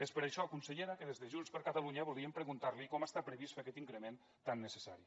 és per això consellera que des de junts per catalunya volíem preguntar li com està previst fer aquest increment tan necessari